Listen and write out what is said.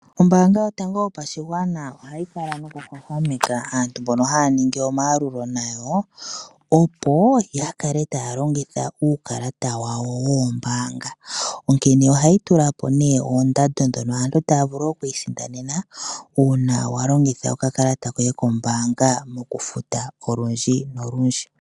Ombaanga yotango yopashigwana ohayi kala nokuhwahwameka aantu mbono haya ningi omayalulo nayo opo ya kale taya longitha uukalata wawo woombaanga. Onkene ohayi tula po nee ondando dhono aantu taya vulu oku isindanena, uuna wa longitha okakalata koye kombaanga mokufuta olundji nolundji.